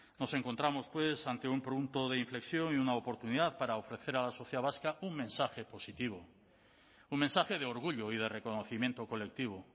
nos encontramos pues ante un punto de inflexión y una oportunidad para ofrecer a la sociedad vasca un mensaje positivo un mensaje de orgullo y de reconocimiento colectivo